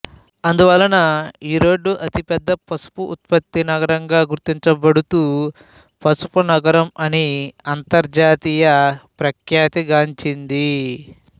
అందువలన ఈరోడ్ అతి పెద్ద పసుపు ఉత్పత్తి నగరంగా గుర్తించబడుతూ పసుపు నగరం అని అంతర్జాతీయ ప్రఖ్యాతిగాంచింది